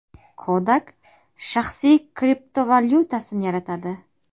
Kodak shaxsiy kriptovalyutasini yaratadi.